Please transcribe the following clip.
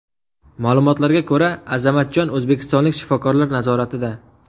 Ma’lumotlarga ko‘ra, Azamatjon o‘zbekistonlik shifokorlar nazoratida.